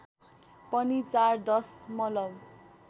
पनि ४ दशमलव